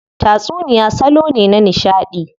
Tatsuniya salo ne na nishadi.